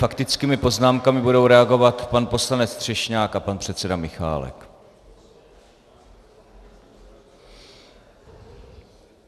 Faktickými poznámkami budou reagovat pan poslanec Třešňák a pan předseda Michálek.